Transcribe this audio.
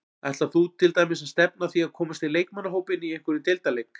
Ætlar þú til dæmis að stefna að því að komast í leikmannahópinn í einhverjum deildarleik?